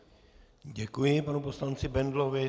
Děkuji panu poslanci Bendlovi.